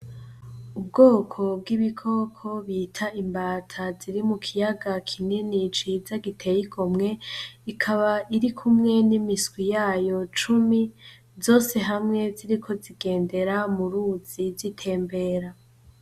Ubwoko bw'ibikoko bita imbata ziri mukiyaga kinini ciza giteye igomwe, ikaba irikumwe nimiswi yayo cumi , zose hamwe ziriko zigendera murizi zitembera